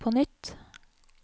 på nytt